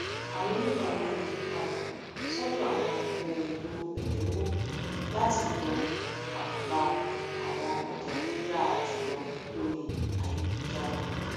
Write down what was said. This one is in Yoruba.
àwọn oníbàárà ń yí padà sọdọ àwọn ohun èlò ẹdínwò láti dúnàdúrà àwọn ọjà tó dáa jùlọ lórí ayélujára